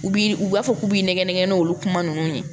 U bi u b'a fɔ k'u b'i nɛgɛn nɛgɛn n'olu kuma nunnu ye